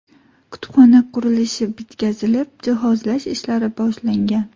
Kutubxona qurilishi bitkazilib, jihozlash ishlari boshlangan.